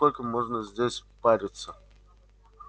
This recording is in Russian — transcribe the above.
сколько можно здесь париться